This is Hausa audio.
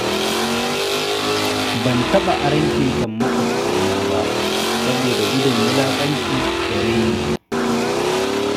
Ban taɓa aron keken maƙwabcina ba, saboda gudun wulaƙanci da raini.